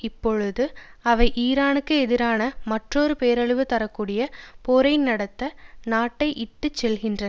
இப்பொழுது அவை ஈரானுக்கு எதிரான மற்றொரு பேரழிவு தர கூடிய போரை நடத்த நாட்டை இட்டு செல்லுகின்றன